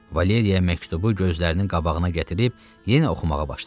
Valeriya məktubu gözlərinin qabağına gətirib yenə oxumağa başladı.